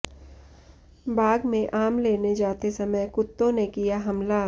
बाग में आम लेने जाते समय कुत्तों ने किया हमला